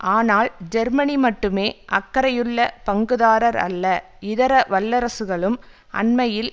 ஆனால் ஜெர்மனி மட்டுமே அக்கறையுள்ள பங்குதாரர் அல்ல இதர வல்லரசுகளும் அண்மையில்